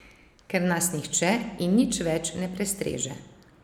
Ker nas nihče in nič več ne prestreže.